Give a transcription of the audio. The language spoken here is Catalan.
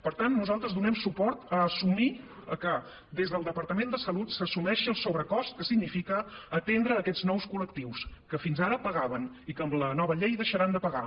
per tant nosaltres donem suport a assumir que des del departament de salut s’assumeixi el sobrecost que significa atendre aquests nous col·lectius que fins ara pagaven i que amb la nova llei deixaran de pagar